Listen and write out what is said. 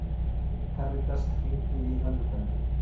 Karítas, hringdu í Önnubellu.